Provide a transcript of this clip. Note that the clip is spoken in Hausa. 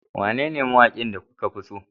Wane mawaki kuka fi so?